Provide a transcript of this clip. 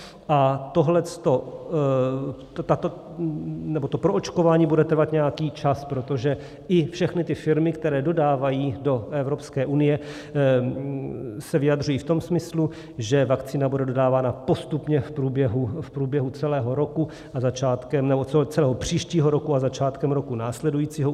A to proočkování bude trvat nějaký čas, protože i všechny ty firmy, které dodávají do Evropské unie, se vyjadřují v tom smyslu, že vakcína bude dodávána postupně v průběhu celého příštího roku a začátkem roku následujícího.